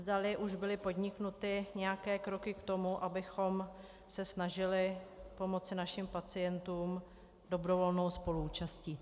Zdali už byly podniknuty nějaké kroky k tomu, abychom se snažili pomoci našim pacientům dobrovolnou spoluúčastí.